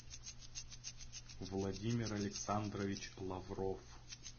владимир александрович лавров